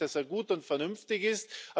Ich denke, dass er gut und vernünftig ist.